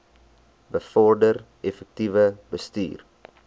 bevorder effektiewe bestuur